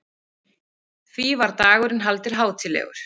Því var dagurinn haldinn hátíðlegur.